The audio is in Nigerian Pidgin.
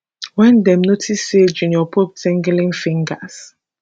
wen dem notice say junior pope tinglin fingers